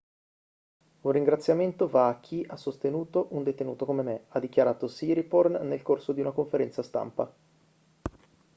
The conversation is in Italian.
un ringraziamento va a chi ha sostenuto un detenuto come me ha dichiarato siriporn nel corso di una conferenza stampa